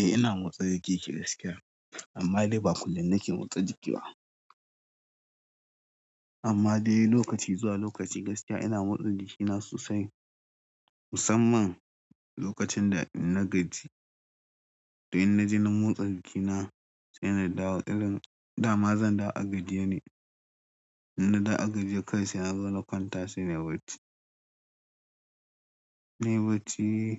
Eh ina motsa jiki gaskiya amma dai ba kullum nake motsa jiki ba. Amma dai lokaci zuwa lokaci gaskiya ina motsa jikina sosai, musamman lokacin da na gajie. To in na je na motsa jikina sai na dawo irin dama zan dawo a gajiye ne. In na dawo a gajiye kai sai na zo na kwanta sai nayi barci. Nayi bacci,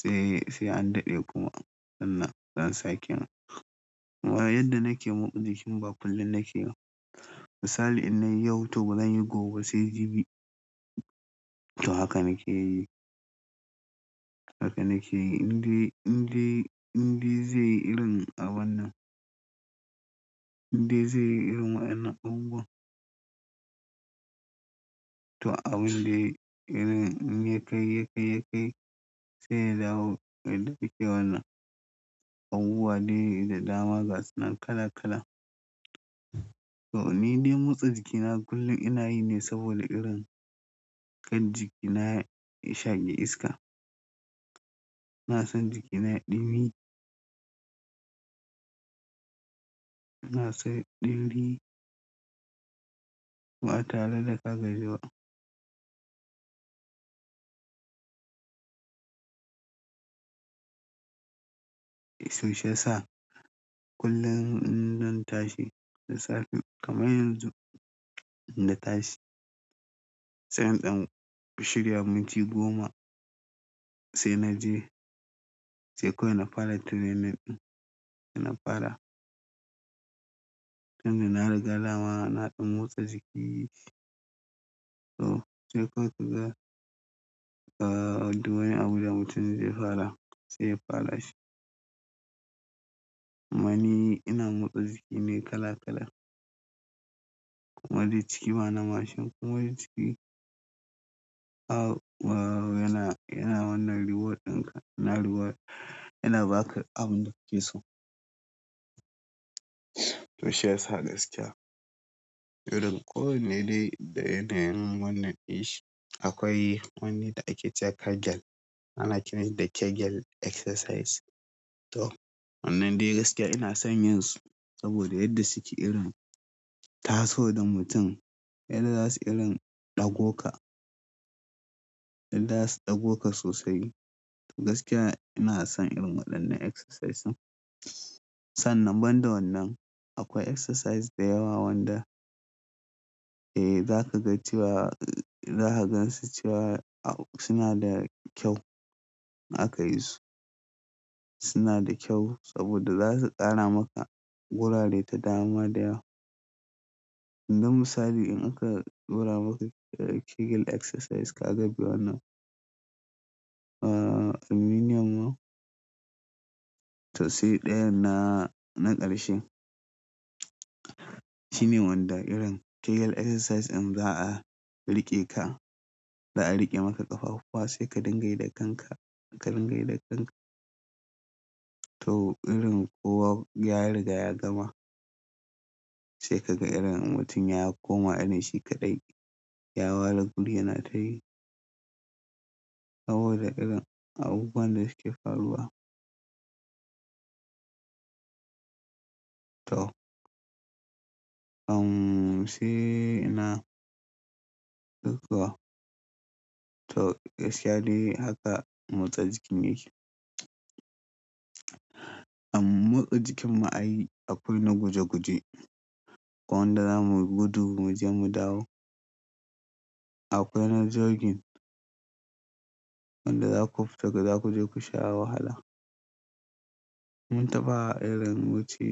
sai an daɗe kuma sannan za'a sake amma yadda nake motsa jikin bakullun nake b misali in nayi yau to bazan yi gobe ba sai jibi. To haka nake yi. Haka nake yi in dai, in dai, in dai zai yi irin a wannan. In dai zai yi irin a wa'ennan abubuwan. To abin dai irin in ya kai, ya kai, ya kai sai dawo yadda keke wanan abubuwa dai da dama gasunan kala kala. To ni dai motsa jiki na kullum ina yi ne saboda irin kar jiki na ya shaƙi iska. Na san jiki na ɗumi. Na san ɗinɗi. Ba a tare da kagaji ba. To shi yasa kullum in zan tashi da safe kamar yanzu in na tashi sai in ɗan shirya minti goma sai na je. Sai kurun na fara training ɗin inna fara. Tun da na riga dama na ɗan motsa jiki. To sai kawai kaga aa duk wani Abuja mutum zai fara sai ya fara shi. Amma ni ina motsa jiki ne kala kala. Amma dai ciki bana mashin kuma duk ciki aa yana, yana wannan reward ɗin ka, yana reward. Yana baka abin da ka so. To shi yasa gaskiya. Irin ko wane dai da yanayin wannan ɗinshi akwai wani da ake cewa kegel. Ana kiranshi da kegel exercise. To wannan dai gaskiya ina son yanzu saboda yadda suke irin taso da mutum yadda za su irin ɗago ka. Yanda zasu ɗago ka sosai gaskiya ina son irin waɗannan exercise ɗin. Sannan ban da wannan akwai exercise da yawa wanda eh za ka ga cewa, za ka gansu cewa suna da kyau in aka yisu. Suna da kyau saboda za su ƙara maka gurare da dama da yawa. Yanzu misali in aka ɗura maka kegel exercise ka gabi wannan aa minimum to sai ɗaya na, na ƙarshe shine wanda irin kegel exercise in za a riƙe ka, za a riƙe maka ƙafafuwa sai ka dinga yi da kanka, ka dinga yi da kanka. To irin kowa ya riga ya gama sai ka ga irin mutum ya koma irin shi kaɗai ya ware guri yana ta yi. Saboda irin abubuwan da suke faruwa. To shi ina sai kuwa to gaskiya dai haka motsa jikin yake. Amm motsa jikin mu a yi a kullum na guje guje. Ko wanda za mu gudu mu je mu dawo. Akwai na jogging. Wanda za ku fita ku je ku sha wahala. Mun taɓa irin wuce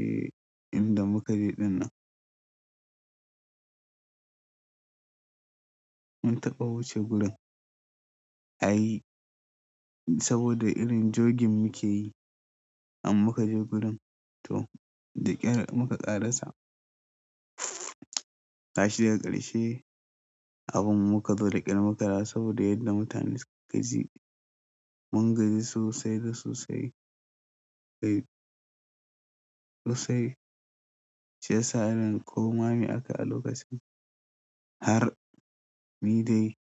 in da muka je ɗinnan. Mun taɓa wuce gurin a yi saboda irin jogging muke yi amma muka je gurin to da ƙyar muka ƙarasa. Gashi a ƙarshe abun muka zo ƙyar makara saboda yadda mutane su gaji. Mun gaji sosai da sosai. Kai sosai. Shi yasa irin koma me aka a lokacin har ni dai.